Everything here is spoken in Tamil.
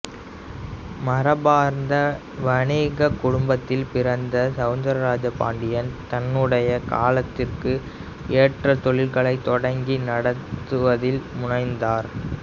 மரபார்ந்த வணிகக் குடும்பத்தில் பிறந்த செளந்திரபாண்டியன் தன்னுடைய காலத்திற்கு ஏற்ற தொழில்களைத் தொடங்கி நடத்துவதில் முனைந்தார்